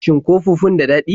Shin ko fufun daɗi?